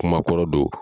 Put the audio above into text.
Kuma kɔrɔ don